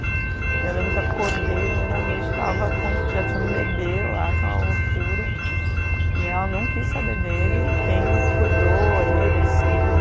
E eu lembro que acordei no meio da noite estava, já tinha um bebê lá, aquela loucura, e ela não quis saber dele, e quem cuidou ele, assim,